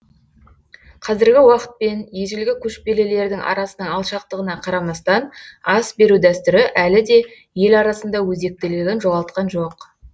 қазіргі уақытпен ежелгі көшпелілердің арасының алшақтығына қарамастан ас беру дәстүрі әліде ел арасында өзектілігін жоғалтқан жоқ